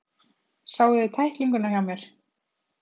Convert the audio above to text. Sáuði tæklinguna hjá mér?